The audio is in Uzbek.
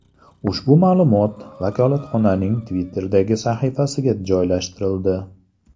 Ushbu ma’lumot vakolatxonaning Twitter’dagi sahifasiga joylashtirildi.